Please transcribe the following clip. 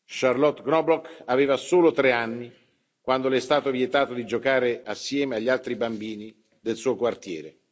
Charlotte Knobloch aveva solo tre anni quando le è stato vietato di giocare insieme agli altri bambini del suo quartiere.